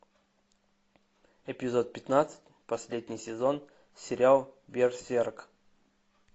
эпизод пятнадцать последний сезон сериал берсерк